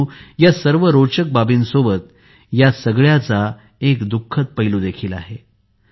परंतु या सर्व रोचक बाबींसोबतच या सगळ्याचा एक दुखद पैलू देखील आहे